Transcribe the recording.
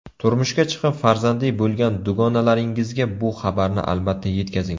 Turmushga chiqib, farzandli bo‘lgan dugonalaringizga bu xabarni albatta yetkazing.